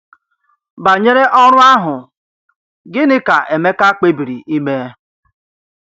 Banyere ọrụ ahụ, gịnị ka Emeka kpebiri ime?